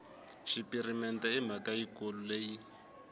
xipirimente i mhaka yikulu leyi